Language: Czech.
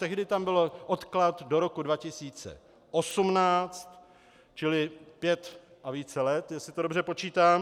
Tehdy tam byl odklad do roku 2018, čili pět a více let, jestli to dobře počítám.